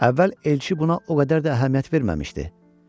Əvvəl Elçi buna o qədər də əhəmiyyət verməmişdi.